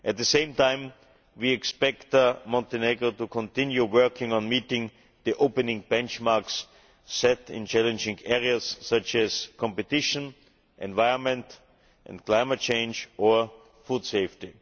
At the same time, we expect Montenegro to continue working on meeting the opening benchmarks set in challenging areas such as competition, the environment, climate change and food safety.